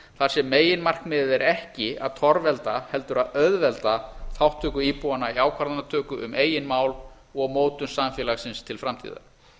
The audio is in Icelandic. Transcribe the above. þar sem meginmarkmiðið er ekki að torvelda heldur að auðvelda þátttöku íbúanna í ákvarðanatöku um eigin mál og mótun samfélagsins til framtíðar